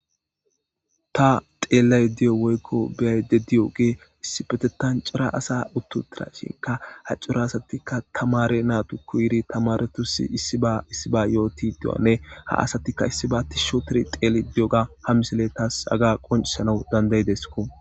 ta xeellay diyo woykko biyayde diy7o gee issipetetancura asa uttu dira shinka ha cura asatikka tamare naatu ku iri tamaretusi issiba issiba yooti diwanne ha asatikka issi ba ti shotir xeeli diyoga ha misile taas aga qoncisanau dandayidesko